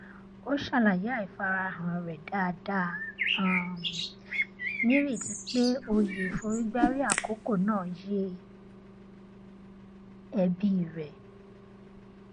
ó ṣàlàyé àìfarahàn rẹ dáadáa um nírètí pé òye ìforígbárí àkókò náà yé ẹbí rẹ